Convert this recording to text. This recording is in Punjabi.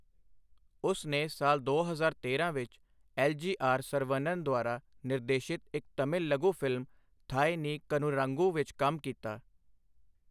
ਉਸ ਨੇ ਸਾਲ ਦੋ ਹਜ਼ਾਰ ਤੇਰਾਂ ਵਿੱਚ, ਐਲ. ਜੀ. ਆਰ. ਸਰਵਨਨ ਦੁਆਰਾ ਨਿਰਦੇਸ਼ਿਤ ਇੱਕ ਤਮਿਲ ਲਘੂ ਫ਼ਿਲਮ ਥਾਏ ਨੀ ਕਨੂਰਾਂਗੂ ਵਿੱਚ ਕੰਮ ਕੀਤਾ।